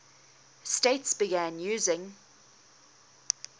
states began using